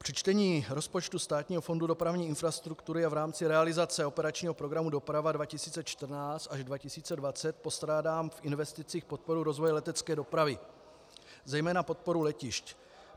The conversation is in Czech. Při čtení rozpočtu Státního fondu dopravní infrastruktury a v rámci realizace operačního programu Doprava 2014 až 2020 postrádám v investicích podporu rozvoje letecké dopravy, zejména podporu letišť.